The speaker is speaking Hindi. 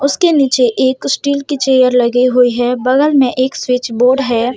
उसके नीचे एक स्टील कि चेयर लगी हुई है बगल मे एक स्विच बोर्ड है।